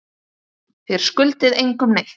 Þér skuldið engum neitt.